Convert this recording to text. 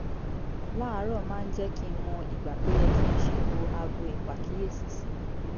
láàárọ̀ máa ń jẹ́ kí n mọ ìgbà tó yẹ kí n ṣètò aago ìpàkíyèsí sí